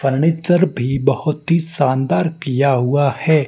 Furniture भी बहोत ही सानदार किया हुआ है।